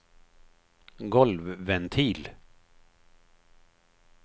golvventil